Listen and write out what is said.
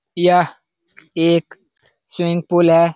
यह एक swimming pool है।